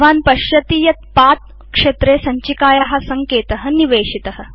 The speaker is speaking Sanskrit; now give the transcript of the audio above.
भवान् पश्यति यत् पथ क्षेत्रे सञ्चिकाया सङ्केत निवेशित